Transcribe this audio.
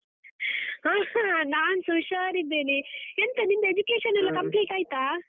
ಹಾ ನಾನ್ಸಾ ಹುಷಾರಿದ್ದೇನೆ, ಎಂತ ನಿಂದು education ಎಲ್ಲ complete ಆಯ್ತಾ?